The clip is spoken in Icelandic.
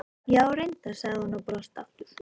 Já, reyndar, sagði hún og brosti aftur.